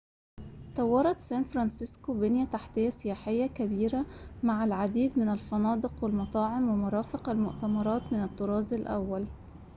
طورت سان فرانسيسكو بنيةً تحتيةً سياحيةً كبيرةً مع العديد من الفنادق والمطاعم ومرافق المؤتمرات من الطراز الأوّلِ